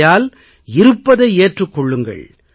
ஆகையால் இருப்பதை ஏற்றுக் கொள்ளுங்கள்